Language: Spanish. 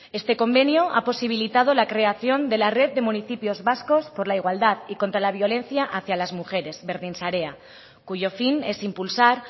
este convenio ha posibilitado la creación de la red de municipios vascos por la igualdad y contra la violencia hacia las mujeres berdinsarea cuyo fin es impulsar